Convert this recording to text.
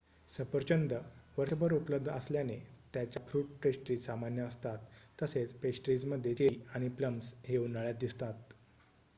सफरचंद वर्षभर उपलब्ध असल्याने त्याच्या फ्रुट पेस्ट्रीज सामान्य असतात तसेच पेस्ट्रीजमध्ये चेरी आणि प्लम्स हे उन्हाळ्यात दिसतात